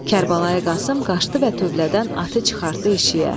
Kərbəlayı Qasım qaşdı və tövlədən atı çıxartdı eşiyə.